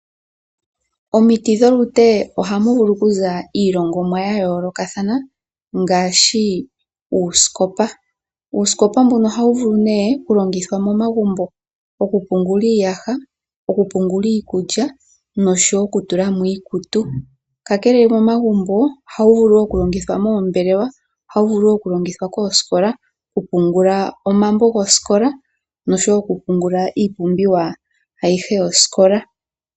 Omiti dholute ohamu vulu kuza iilongomwa yayoolokathana ngaashi uusikopa. Uusikopa mbuno ohawu vulu nee kulongithwa momagumbo, okupungula iiyaha, okupungula iikulya nosho wo okutula mo iikutu. Kakele momagumbo ohawu vulu wo okulongithwa moombelewa, ohawu vulu wo okulongithwa koosikola kupungula omambo gosikola nosho wo okupungula iipumbiwa ayihe yosikola.